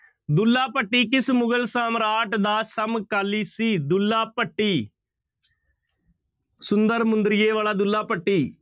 ਦੁੱਲਾ ਭੱਟੀ ਕਿਸ ਮੁਗ਼ਲ ਸਮਰਾਟ ਦਾ ਸਮਕਾਲੀ ਸੀ ਦੁੱਲਾ ਭੱਟੀ ਸੁੰਦਰ ਮੁੰਦਰੀਏ ਵਾਲਾ ਦੁੱਲਾ ਭੱਟੀ